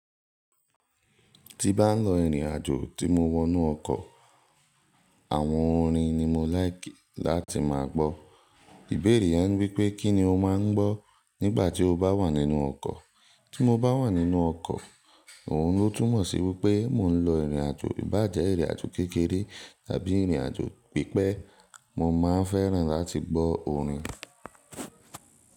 Ti bá ń lọ ìrìn àjò tí mo wọ inú ọkọ̀, àwọn orin ni mo láìkì láti máa gbọ́. Ìbéèr̀è yẹn wípé kí ni o máa ń gbọ́ nígbà tí o bá wà nínú ọkọ̀? Tí mo bá wà nínú ọkọ̀, òun ló túmọ̀ sí wípẹ́ mò ń lọ ìrìn àjò, bá jẹ́ ìrìn àjò kékeré tàbí ìrìn àjò pípẹ́, mo máa n fẹ́ràn láti gbọ́ orin.